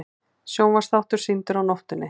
Sjónvarpsþáttur sýndur á nóttinni